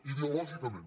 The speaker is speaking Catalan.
ideològicament